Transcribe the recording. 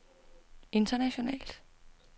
internationalt